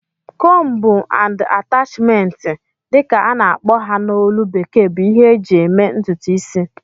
"Comb and attachment" dị ka a na-akpọ ha na ólú bekee bụ ihe eji eme ntụtụ isi